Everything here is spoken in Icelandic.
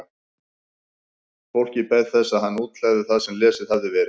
Fólkið beið þess að hann útlegði það sem lesið hafði verið.